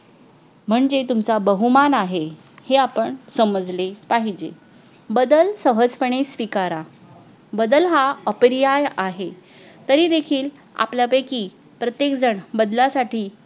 म्हणजे तुमचा बहुमान आहे हे आपण समजले पाहिजे बदल सहजपणे स्वीकारा बदल हा अप्रियाय आहे तरी देखील आपल्यापैकी प्रत्येक जण बदलासाठी